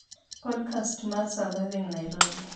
podcasts mar Surviving nairobi